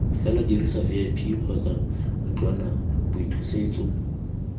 fela dirisa vip kgotsa ntlwanaboithusetso